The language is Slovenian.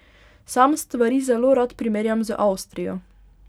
Sam stvari zelo rad primerjam z Avstrijo.